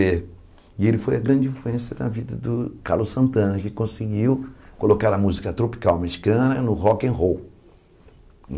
E ele foi a grande influência na vida do Carlos Santana, que conseguiu colocar a música tropical mexicana no rock and roll.